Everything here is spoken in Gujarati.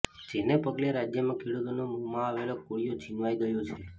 જેને પગલે રાજ્યમાં ખેડૂતોના મોંમા આવેલો કોળિયો છિનવાઈ ગયો છે